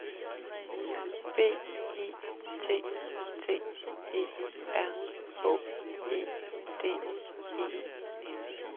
B I T T E R H E D E N